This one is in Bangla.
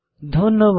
ধন্যবাদ